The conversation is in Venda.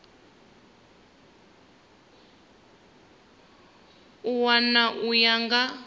a wana u ya nga